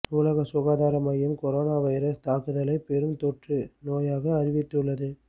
உலக சுகாதார மையம் கொரோனா வைரஸ் தாக்குதலை பெரும் தொற்று நோயாக அறிவித்துள்ளது